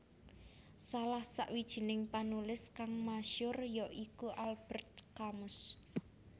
Salah sawijining panulis kang masyur ya iku Albert Camus